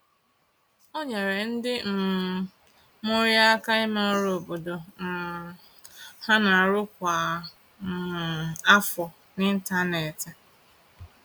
O nyeere ndị um mụrụ ya aka ime ọrụ obodo um ha n'arụ kwa um afọ n’ịntanetị.